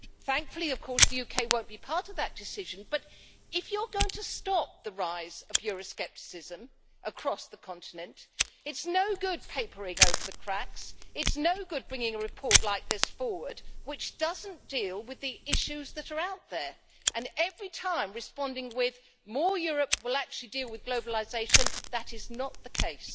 Thankfully, of course, the UK will not be part of that decision, but if you are going to stop the rise of euro-scepticism across the continent, it is no good papering over the cracks, it is no good bringing a report like this forward, which does not deal with the issues that are out there, and every time responding with more Europe will actually deal with globalisation' that is not the case.